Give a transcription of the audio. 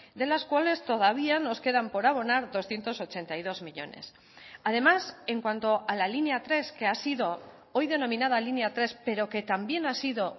de las cuales todavía nos quedan por abonar doscientos ochenta y dos millónes además en cuanto a la línea tres que ha sido hoy denominada línea tres pero que también ha sido